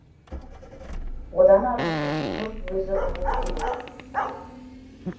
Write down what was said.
одан арғысын жұрт өзі ұғуы керек